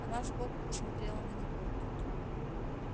она сбоку посмотрела на него